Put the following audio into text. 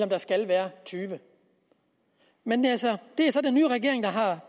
der skal være tyvende men det er så den nye regering der